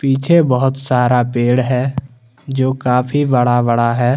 पीछे बहोत सारा पेड़ है जो काफी बड़ा बड़ा है।